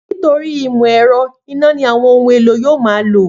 Nítorí ìmọ̀ ẹ̀rọ, iná ni àwọn ohun-èlò yóò ma lò